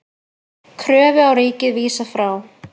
Kröfu á ríkið vísað frá